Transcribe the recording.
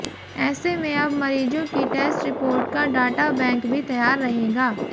ऐसे में अब मरीजों की टेस्ट रिपोर्ट का डाटा बैंक भी तैयार रहेगा